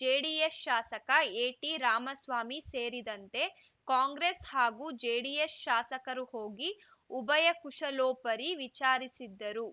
JDS ಶಾಸಕ ಎಟಿ ರಾಮಸ್ವಾಮಿ ಸೇರಿದಂತೆ ಕಾಂಗ್ರೆಸ್‌ ಹಾಗೂ ಜೆಡಿಎಸ್‌ ಶಾಸಕರು ಹೋಗಿ ಉಭಯ ಕುಶಲೋಪರಿ ವಿಚಾರಿಸಿದರು